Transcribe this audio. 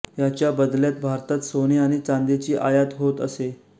ह्याच्या बदल्यात भारतात सोने आणि चांदीची आयात होत असे